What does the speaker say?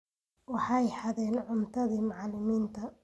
Waxay xadeen cuntadii macallimiinta